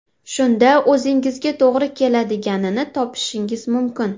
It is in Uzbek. Shunda o‘zingizga to‘g‘ri keladiganini topishingiz mumkin.